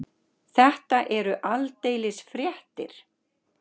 Þetta eru aldeilis fréttir.